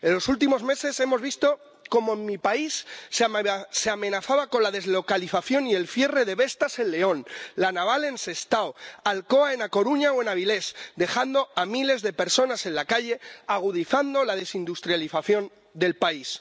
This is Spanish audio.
En los últimos meses hemos visto cómo en mi país se amenazaba con la deslocalización y el cierre de Vestas en León, La Naval en Sestao, Alcoa en A Coruña o en Avilés, dejando a miles de personas en la calle, agudizando la desindustrialización del país.